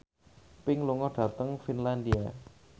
Pink lunga dhateng Finlandia